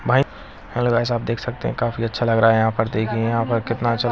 hello guys आप देख सकते है काफी अच्छा लग रहा है यहां पर देखिये यहाँ पर कितना अच्छा --